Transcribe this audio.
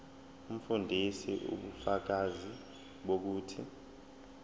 umfundisi ubufakazi bokuthi